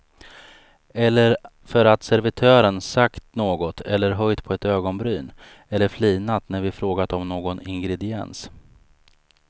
Eller för att servitören sagt något eller höjt på ett ögonbryn eller flinat när vi frågat om någon ingrediens.